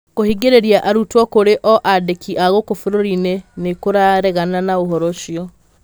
kuhingĩrĩria arutwo kurĩ o andĩki a guku bururi-ĩnĩ niĩkuraregana na uhoro ucio